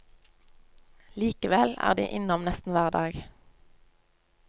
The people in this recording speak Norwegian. Likevel er de innom nesten hver dag.